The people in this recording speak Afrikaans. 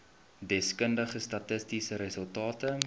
deskundige statistiese resultate